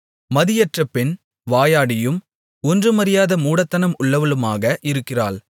மதியற்ற பெண் வாயாடியும் ஒன்றுமறியாத மூடத்தனம் உள்ளவளுமாக இருக்கிறாள்